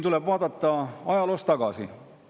Tuleb vaadata ajaloos tagasi.